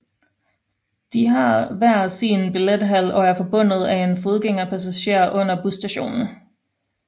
De har hver sin billethal og er forbundet af en fodgængerpassager under busstationen